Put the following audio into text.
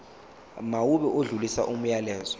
mawube odlulisa umyalezo